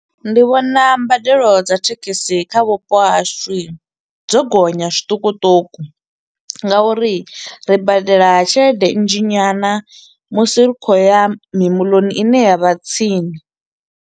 Ndi vhona mbadelo dza thekhisi kha vhupo hashu i, dzo gonya zwiṱukuṱuku nga uri ri badela tshelede nnzhi nyana musi ri kho u ya mimoḽoni i ne ya vha tsini.